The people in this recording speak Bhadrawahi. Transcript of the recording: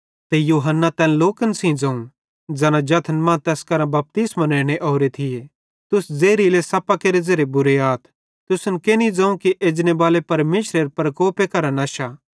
ते यूहन्ना तैन लोकन सेइं ज़ोवं ज़ैना जथन मां तैस करां बपतिस्मो नेने ओरे थिये तुस ज़ेहरीले सप्पेरे ज़ेरे बुरे आथ तुसन केनि ज़ोवं कि एजनेबाले परमेशरेरे कोपे करां नश्शा